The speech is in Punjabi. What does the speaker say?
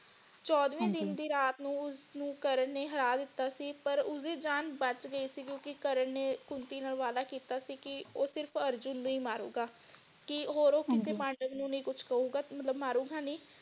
ਚੌਦਵੇਂ ਦਿਨ ਹਾਂਜੀ ਦੀ ਰਾਤ ਨੂੰ ਉਸਨੂੰ ਕਰਨ ਨੇ ਹਰ ਦਿਤਾ ਸੀ ਪਰ ਉਸਦੀ ਜਾਨ ਬਚ ਗਈ ਸੀਗੀ ਕਰਨ ਨੇ ਕੁੰਤੀ ਨਾਲ ਵਾਦਾ ਕੀਤਾ ਸੀ ਕਿ ਉਹ ਸਿਰਫ ਅਰਜੁਨ ਨੂੰ ਹੀ ਮਾਰੂਗਾ ਕਿ ਹੋਰ ਉਹ ਹਾਂਜੀ ਕਿਸੇ ਪਾਂਡਵ ਨੂੰ ਕੁਛ ਨੀ ਕਹੂਗਾ ਮਤਲਬ ਮਾਰੂਗਾ ਨੀ।